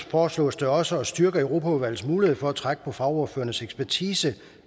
foreslås det også at styrke europaudvalgets mulighed for at trække på fagordførernes ekspertise